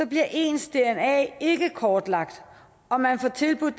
bliver ens dna ikke kortlagt og man får tilbudt